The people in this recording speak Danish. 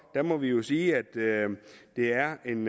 må vi jo sige at det er en